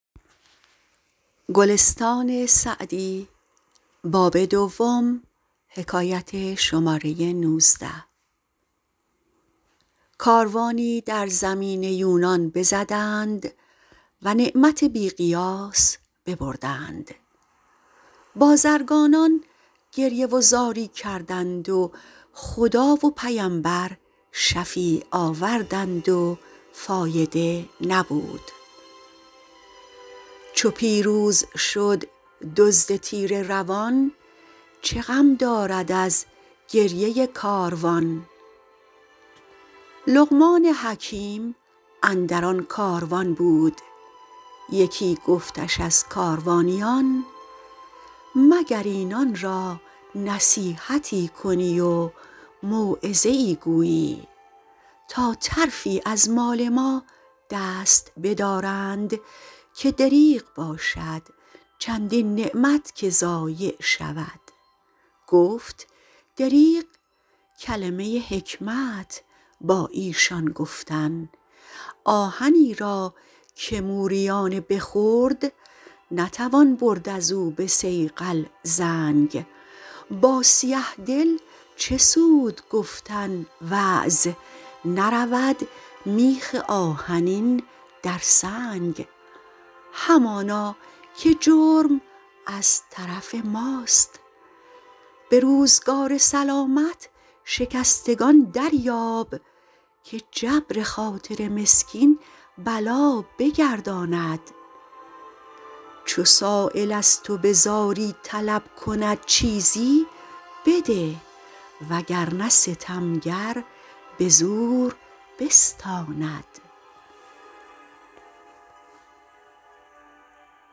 کاروانی در زمین یونان بزدند و نعمت بی قیاس ببردند بازرگانان گریه و زاری کردند و خدا و پیمبر شفیع آوردند و فایده نبود چو پیروز شد دزد تیره روان چه غم دارد از گریه کاروان لقمان حکیم اندر آن کاروان بود یکی گفتش از کاروانیان مگر اینان را نصیحتی کنی و موعظه ای گویی تا طرفی از مال ما دست بدارند که دریغ باشد چندین نعمت که ضایع شود گفت دریغ کلمه حکمت با ایشان گفتن آهنی را که موریانه بخورد نتوان برد از او به صیقل زنگ با سیه دل چه سود گفتن وعظ نرود میخ آهنی در سنگ همانا که جرم از طرف ماست به روزگار سلامت شکستگان دریاب که جبر خاطر مسکین بلا بگرداند چو سایل از تو به زاری طلب کند چیزی بده وگرنه ستمگر به زور بستاند